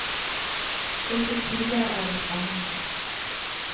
Og til tider er det spennende.